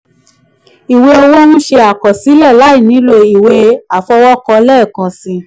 iwe owo nṣe akọsilẹ lai nilo iwe afọwọkọ lẹẹkansi.